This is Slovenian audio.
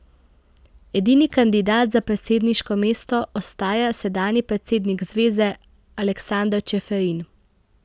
Edini kandidat za predsedniško mesto ostaja sedanji predsednik zveze Aleksander Čeferin.